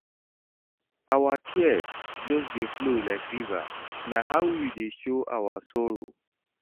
Our tears just dey flow like river, na how we dey show our sorrow.